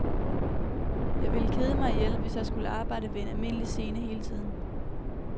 Jeg ville kede mig ihjel, hvis jeg skulle arbejde ved en almindelig scene hele tiden.